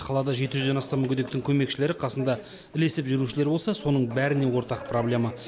қалада жеті жүзден астам мүгедектің көмекшілері қасында ілесіп жүрушілері болса соның бәріне ортақ проблема